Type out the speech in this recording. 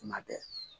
Kuma bɛɛ